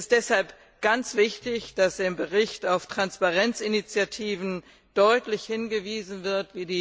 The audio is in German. Es ist deshalb ganz wichtig, dass im Bericht deutlich auf Transparenzinitiativen wie die EITI hingewiesen wird.